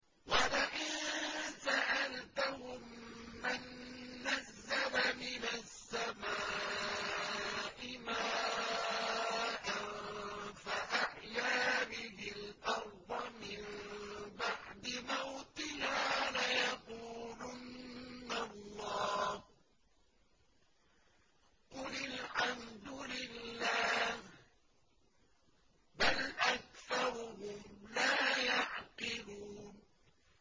وَلَئِن سَأَلْتَهُم مَّن نَّزَّلَ مِنَ السَّمَاءِ مَاءً فَأَحْيَا بِهِ الْأَرْضَ مِن بَعْدِ مَوْتِهَا لَيَقُولُنَّ اللَّهُ ۚ قُلِ الْحَمْدُ لِلَّهِ ۚ بَلْ أَكْثَرُهُمْ لَا يَعْقِلُونَ